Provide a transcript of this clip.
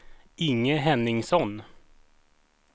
Inge Henningsson